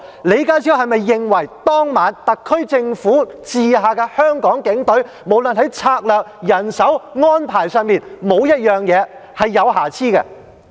李家超是否認為當晚特區政府轄下的香港警隊，不論在策略、人手和安排上，在任何方面都沒有瑕疵？